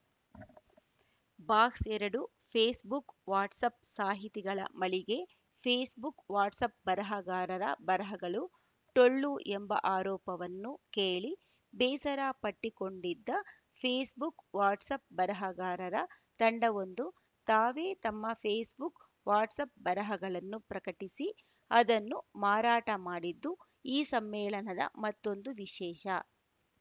box ಎರಡು Facebook WhatsApp ಸಾಹಿತಿಗಳ ಮಳಿಗೆ ಫೇಸ್‌ಬುಕ್‌ ವಾಟ್ಸಪ್‌ ಬರಹಗಾರರ ಬರಹಗಳು ಟೊಳ್ಳು ಎಂಬ ಆರೋಪವನ್ನು ಕೇಳಿ ಬೇಸರ ಪಟ್ಟಿಕೊಂಡಿದ್ದ ಫೇಸ್‌ಬುಕ್‌ ವಾಟ್ಸಪ್‌ ಬರಹಗಾರರ ತಂಡವೊಂದು ತಾವೇ ತಮ್ಮ ಫೇಸ್‌ಬುಕ್‌ ವಾಟ್ಸಪ್‌ ಬರಹಗಳನ್ನು ಪ್ರಕಟಿಸಿ ಅದನ್ನು ಮಾರಾಟ ಮಾಡಿದ್ದು ಈ ಸಮ್ಮೇಳನದ ಮತ್ತೊಂದು ವಿಶೇಷ